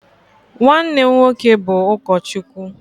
nwanne m nwoke bụ ụkọchukwu